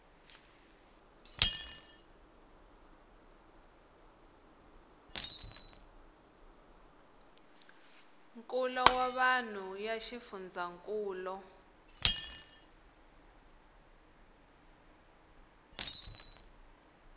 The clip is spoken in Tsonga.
nkulo wa vanhu ya xifundzhankulu